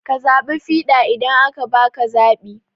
Ka zaɓi fiɗa idan aka baka zaɓi